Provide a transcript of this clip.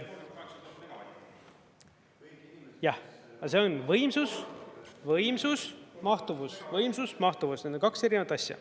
Jah, see on võimsus, võimsus, mahtuvus, võimsus, mahtuvus – need on kaks erinevat asja.